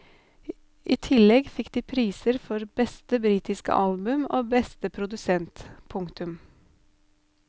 I tillegg fikk de priser for beste britiske album og beste produsent. punktum